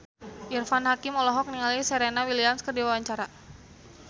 Irfan Hakim olohok ningali Serena Williams keur diwawancara